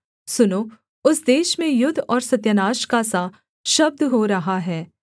सुनो उस देश में युद्ध और सत्यानाश का सा शब्द हो रहा है